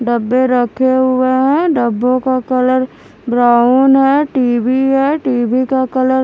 डब्बे रखे हुए हैं डब्बों का कलर ब्राउन है टी_वी है टी_वी का कलर --